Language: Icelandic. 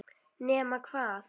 Nema hvað!?!